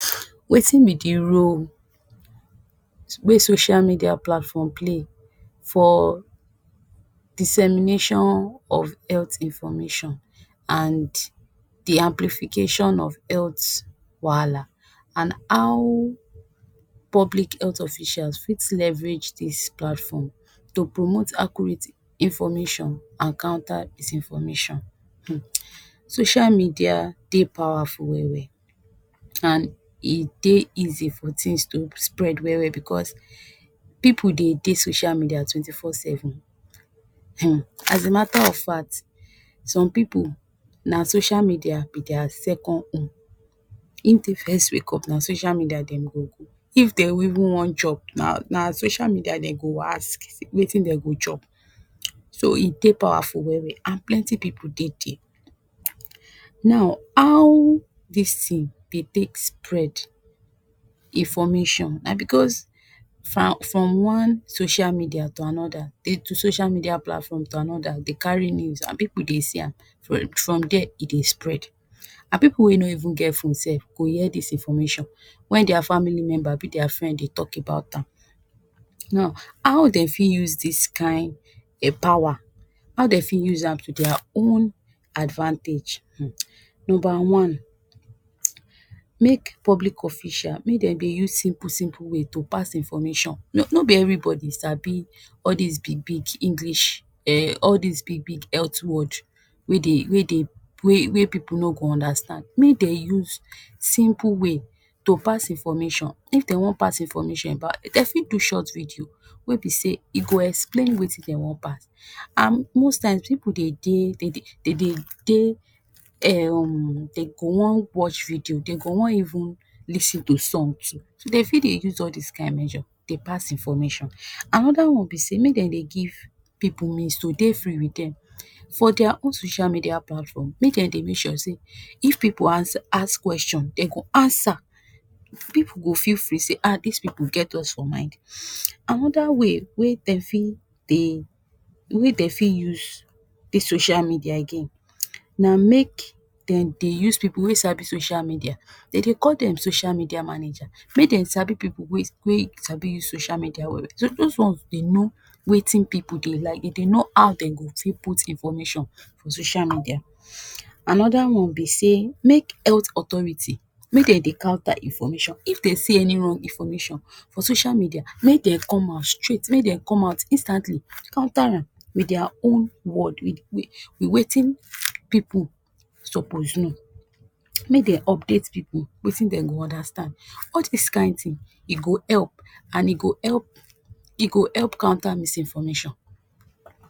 Wetin be the role wey social media platform play for dissemination of health information and the amplification of health wahala, and how public health officials fit leverage dis platform, to promote accurate information and counter is information. Social media dey powerful well-well, and e dey easy for things to spread well-well because pipu dey de social media twenty four seven. Hm as a matter of fact, some pipu na social media be their second home, if den first wake up na social media dem go go, if dem even wan chop, na na social media den go ask say wetin dey go chop, so e dey powerful well-well and plenty pipu dey there. Now how dis thing dey take spread information, na because from one social media to another, they, social media platform to another, they carry news and pipu dey see am from there e dey spread and pipu wey no even get phone sef go hear dis information when their family member abi their friend dey talk about am. Now how dem fi use this kain power, how den fi use am to their own advantage? Number one, make public official, make den dey use simple simple way to pass information, no be everybody sabi all these big big English, Eh all these big big health word wey dey, wey dey, wey pipu no go understand, make dem use simple way to pass information, if den wan pass information about, den fit do short video wey be say e go explain wetin den wan pass, and most times pipu dey de, dey de dey Em den go wan watch video, den go wan even lis ten to song too, so den fi dey use all these kain major dey pass information. Another one be sey, make dem dey give pipu means to dey free with them for their own social media platform, make dem dey make such say, if pipu ask kweshon, they go answer, pipu go feel free say ah dis pipu get us for mind. Another way wey den fi dey, wey den fi use dis social media again, na make den dey use pipu wey sabi social media, den dey call them social media manager, make dem sabi pipu wey wey sabi use social media well-well, so those ones dey know wetin pipu dey like, e dey know how den go fi put information for social media. Another one be say make health authority, make dem dey counter information if they see any wrong information for social media, make dem come out straight, make dem come out instantly, counter am with their own word, with with with wetin pipu supoz know, make dem update pipu wetin den go understand, all dis kain thing e go help and e go help, e go help counter misinformation.